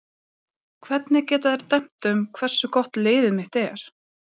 Hvernig geta þeir dæmt um hversu gott liðið mitt er?